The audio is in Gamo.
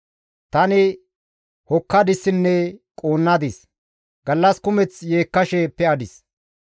Tani hokkadissinne quunnadis. Gallas kumeth yeekkashe pe7adis.